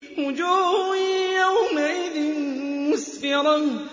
وُجُوهٌ يَوْمَئِذٍ مُّسْفِرَةٌ